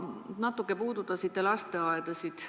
Te natukene puudutasite lasteaedasid.